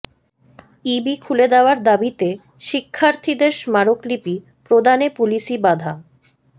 ইবি খুলে দেয়ার দাবিতে শিক্ষার্থীদের স্মারকলিপি প্রদানে পুলিশি বাধা